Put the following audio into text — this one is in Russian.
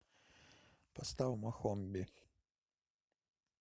поставь мохомби